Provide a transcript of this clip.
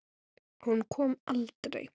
Hún kom aldrei.